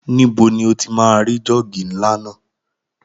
Níbo ni o ti máa rí jọ́ọ̀gì ńlá náà?